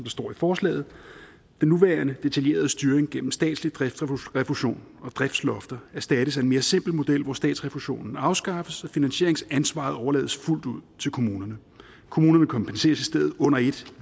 står i forslaget den nuværende detaljerede styring gennem statslig driftsrefusion og driftslofter erstattes af en mere simpel model hvor statsrefusionen afskaffes og finansieringsansvaret overlades fuldt ud til kommunerne kommunerne kompenseres i stedet under ét